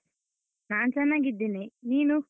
ನಾನ್ ಚನ್ನಾಗಿದ್ದೇನೆ, ನೀನು?